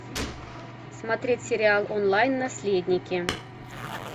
смотреть сериал онлайн наследники